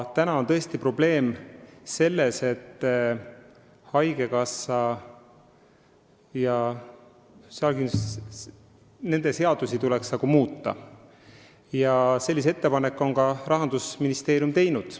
Täna on tõesti probleem selles, et haigekassa ja töötukassa seadust tuleks muuta, sellise ettepaneku on Rahandusministeerium ka teinud.